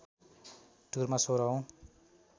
टुरमा १६ औँ